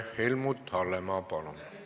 Helmut Hallemaa, palun!